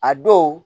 A dɔw